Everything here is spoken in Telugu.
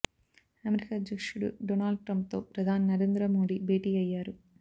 అమెరికా అధ్యక్షుడు డొనాల్డ్ ట్రంప్ తో ప్రధాని నరేంద్ర మోడీ భేటీ అయ్యారు